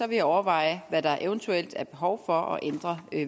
jeg overveje hvad der eventuelt er behov for at ændre